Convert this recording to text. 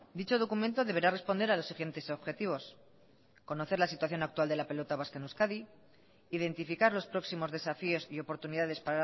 dicho documento deberá responder a los siguientes objetivos conocer la situación actual de la pelota vasca en euskadi identificar los próximos desafíos y oportunidades